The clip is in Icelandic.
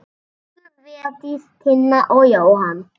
Elsku Védís, Tinna og Jóhann.